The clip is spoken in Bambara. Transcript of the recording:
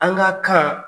An ka kan